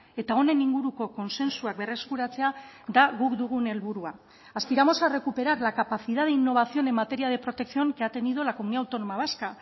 eta honen inguruko kontsentsuak berreskuratzea da guk dugun helburua aspiramos a recuperar la capacidad de innovación en materia de protección que ha tenido la comunidad autónoma vasca